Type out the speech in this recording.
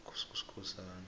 kuskhosana